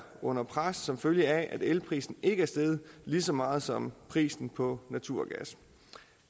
under pres som følge af at elprisen ikke er steget lige så meget som prisen på naturgas